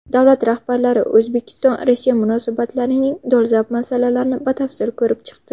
Davlat rahbarlari O‘zbekistonRossiya munosabatlarining dolzarb masalalarini batafsil ko‘rib chiqdi.